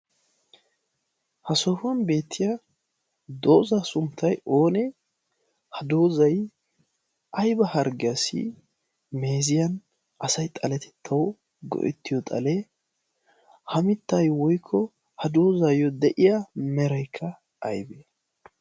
Ha sohuwan eetiya doza sunttay oone? Ha dozay ayba harggiyassi meeziyan asay xaletetawu go'etiyo xalee ha mittay woykko ha dozayo de'iya meray aybee?